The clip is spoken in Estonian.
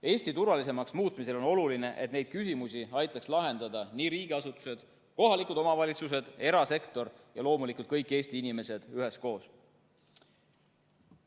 Eesti turvalisemaks muutmisel on oluline, et neid küsimusi aitaks lahendada riigiasutused, kohalikud omavalitsused, erasektor ja loomulikult kõik Eesti inimesed üheskoos.